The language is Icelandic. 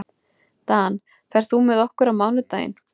Dan, ferð þú með okkur á mánudaginn?